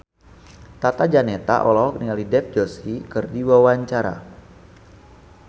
Tata Janeta olohok ningali Dev Joshi keur diwawancara